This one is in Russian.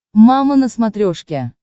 мама на смотрешке